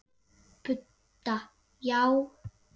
Budda: Já.